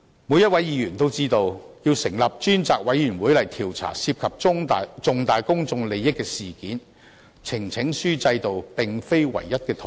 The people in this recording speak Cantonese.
每位議員也知道，要成立專責委員會調查涉及重大公眾利益的事件，呈請書制度並非唯一的途徑。